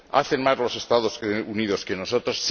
¿Hacen más los Estados Unidos que nosotros?